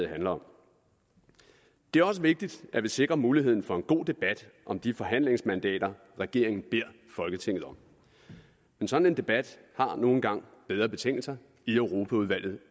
handler om det er også vigtigt at vi sikrer muligheden for en god debat om de forhandlingsmandater regeringen beder folketinget om en sådan debat har nu engang bedre betingelser i europaudvalget